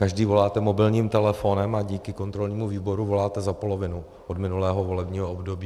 Každý voláte mobilním telefonem a díky kontrolnímu výboru voláte za polovinu od minulého volebního období.